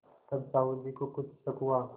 तब साहु जी को कुछ शक हुआ